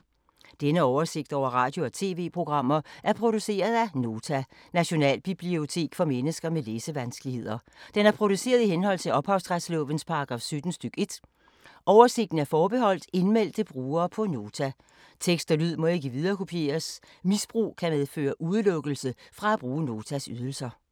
Denne oversigt over radio og TV-programmer er produceret af Nota, Nationalbibliotek for mennesker med læsevanskeligheder. Den er produceret i henhold til ophavsretslovens paragraf 17 stk. 1. Oversigten er forbeholdt indmeldte brugere på Nota. Tekst og lyd må ikke viderekopieres. Misbrug kan medføre udelukkelse fra at bruge Notas ydelser.